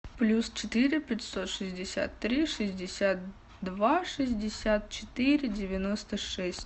плюс четыре пятьсот шестьдесят три шестьдесят два шестьдесят четыре девяносто шесть